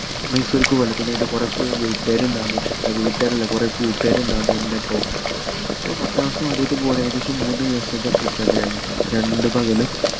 മൈസൂർക്ക് പൊവ്വല് പിന്നെ ന്റെ കൊറേ സൂ വീട്ടുകാര് ഇണ്ടാവൂന്ന് ഏർ വീട്ടുകാരല്ല കൊറേ കൂട്ടുകാര് ഇണ്ടാവുന്നു ന്റെ ഒപ്പോം അപ്പൊ പത്താം class ന്ന് ആദ്യായിട്ട് പോവുആണ് ഏകദേശം മൂന്ന് ദിവസത്തെ trip ന്നെ ആയിരുന്നു രണ്ട് പകലും